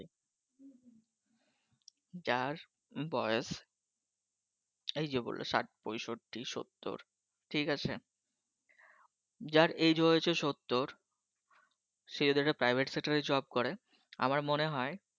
যার বয়স এই যে বললে ঠিক আছে যার Age হয়েছে সত্তর সে যদি একটা Private Sector রে Job করে আমার মনে হয়